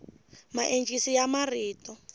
maencisi ya marito